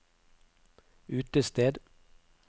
utested